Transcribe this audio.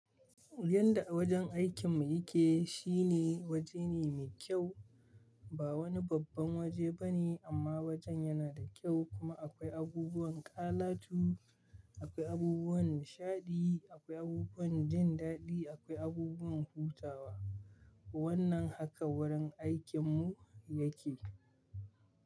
Yanda a wajen aikin mu yake, shine waje ne me kyau. Ba wani babban waje bane amma wajen yana da kyau kuma akwai abubuwan kalatu, akwai abubuwan nishaɗi, akwai abubuwan jin daɗi, akwai abubuwan hutawa. Wannan haka gurin aikin mu yake.